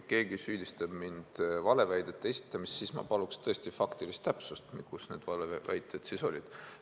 Kui keegi süüdistab mind valeväidete esitamises, siis ma paluksin faktilist täpsust, kus need valeväited siis olid.